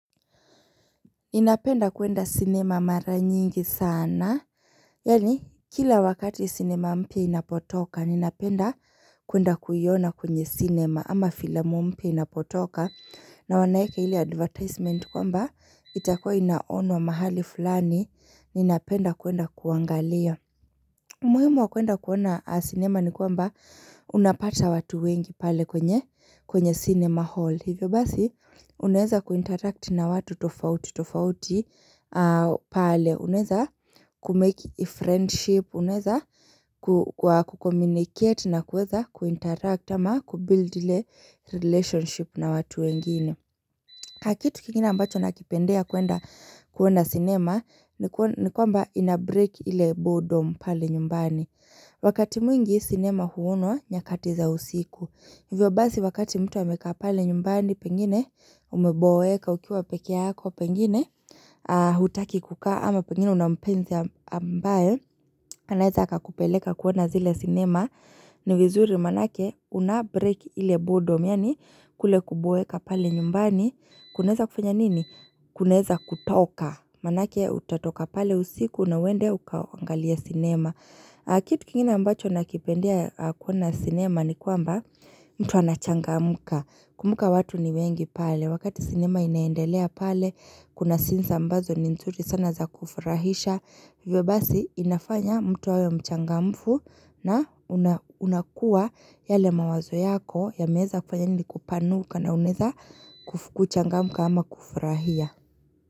Ninapenda kuenda cinema mara nyingi sana, yani kila wakati cinema mpya inapotoka, inapenda kuenda kuiyona kwenye cinema ama filamu mpya inapotoka na wanaeka hili advertisement kwamba itakuwa inaonwa mahali fulani, ninapenda kuenda kuangalia muhimu wa kwenda kuwona cinema ni kwamba unapata watu wengi pale kwenye cinema hall. Hivyo basi unaeza kuinteract na watu tofauti tofauti pale. Unaeza kumake friendship, unaeza ku communicate na kuweza kuinteract ama kubuild ile relationship na watu wengine. Akitu kingine ambacho nakipendea kuwenda kuona sinema ni kwamba inabreke ile boredom pale nyumbani. Wakati mwingi sinema huonwa nyakati za usiku. Hivyo basi wakati mtu amekaa pale nyumbani pengine umeboeka ukiwa peke yako pengine hutaki kukaa ama pengine una mpenzi ambaye. Anaeza akakupeleka kuona zile cinema ni vizuri manake unabrake ile boredom Yani kule kuboeka pale nyumbani kunaeza kufanya nini kunaeza kutoka Manake utatoka pale usiku na uwende ukaangalia cinema Kitu kingine ambacho nakipendia kuona cinema ni kwamba mtu anachangamuka Kumbuka watu ni wengi pale wakati cinema inaendelea pale kuna scenes mbazo ni nzuri sana za kufurahisha Hivyo basi inafanya mtu awe mchangamfu na unakua yale mawazo yako yameeza kufanya nini kupanuka na unaeza kufu kuchangamu ama kufurahia.